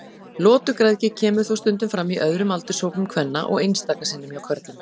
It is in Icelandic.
Lotugræðgi kemur þó stundum fram í öðrum aldurshópum kvenna og einstaka sinnum hjá körlum.